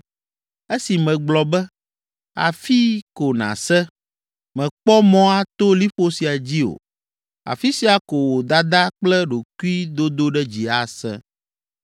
esi megblɔ be, ‘Afii ko nàse, mèkpɔ mɔ ato liƒo sia dzi o, afi sia ko wò dada kple ɖokuidodoɖedzi ase?’